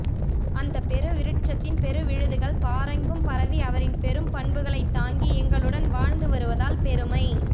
அந்தப் பெருவிருட்ஷத்தின் பெருவிழுதுகள் பாரெங்கும் பரவி அவரின் பெரும் பண்புகளைத் தாங்கி எங்களுடன் வாழ்ந்து வருவதால் பெருமை